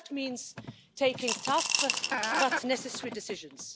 That means taking tough but necessary decisions.